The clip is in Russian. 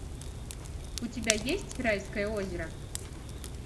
у тебя есть райское озеро